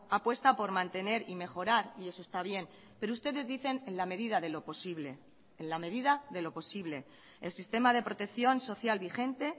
apuesta por mantener y mejorar y eso está bien pero ustedes dicen en la medida de lo posible en la medida de lo posible el sistema de protección social vigente